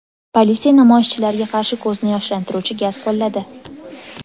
Politsiya namoyishchilarga qarshi ko‘zni yoshlantiruvchi gaz qo‘lladi.